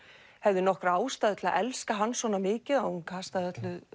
hefði nokkra ástæðu til að elska hann svona mikið að hún kastaði